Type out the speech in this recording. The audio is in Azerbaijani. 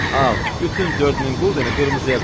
Al, bütün 4000 quldeni qırmızıya qoy.